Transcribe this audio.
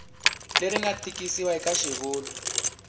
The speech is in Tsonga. leri nga tikisiwa eka xivulwa